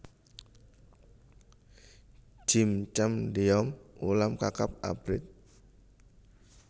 Jjim chamdeom ulam kakap abrit